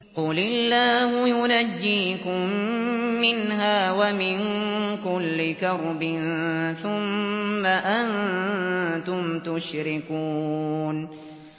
قُلِ اللَّهُ يُنَجِّيكُم مِّنْهَا وَمِن كُلِّ كَرْبٍ ثُمَّ أَنتُمْ تُشْرِكُونَ